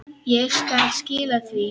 Ég skal skila því.